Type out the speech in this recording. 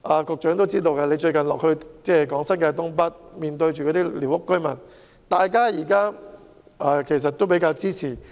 局長近日落區向寮屋居民講解新界東北計劃時，也知道大家都很支持。